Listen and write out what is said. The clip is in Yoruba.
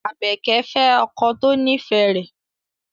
Abeke fe oko to nife re